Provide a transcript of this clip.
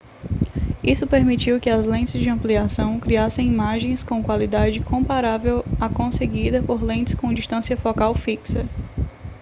isso permitiu que as lentes de ampliação criassem imagens com qualidade comparável à conseguida por lentes com distância focal fixa